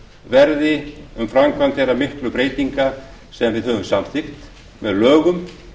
verði um framkvæmd þeirra miklu breytinga sem við höfum samþykkt með lögum